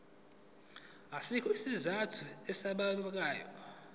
asikho isizathu esibambekayo